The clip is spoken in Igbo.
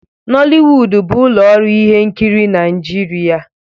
Noliwudu bụ ụlọ ọrụ ihe nkiri Naịjirịa.